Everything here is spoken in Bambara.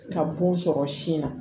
Ka bon sɔrɔ sin na